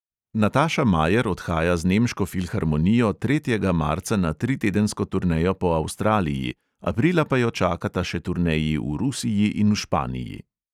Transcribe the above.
Nataša majer odhaja z nemško filharmonijo tretjega marca na tritedensko turnejo po avstraliji, aprila pa jo čakata še turneji v rusiji in v španiji.